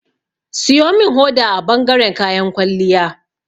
Siyo min hoda a bangaren kayan kwalliya.